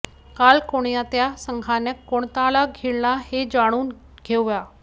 काल कोणत्या संघानं कोणाला घेतलं हे जाणून घेऊया